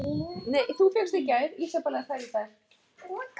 Þetta er allt eins!